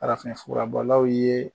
Farafinfura bɔlaw ye